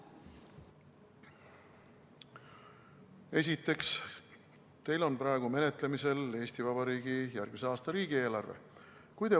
Esiteks, teil on praegu menetlemisel Eesti Vabariigi järgmise aasta riigieelarve.